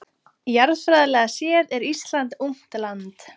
Jarðfræðilega séð er Ísland ungt land.